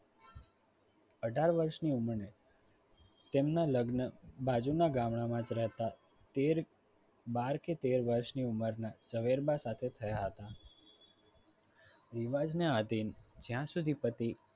અઢાર વર્ષની ઉંમરે તેમના લગ્ન બાજુના ગામડામાં જ રહેતા તેર બાર કે તેર વર્ષની ઉંમરના ઝવેરબા સાથે થયા હતા રિવાજને આધીન જ્યાં સુધી પતિ